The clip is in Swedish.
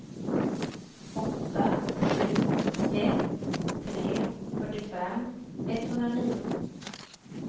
åtta sju ett tre fyrtiofem etthundranio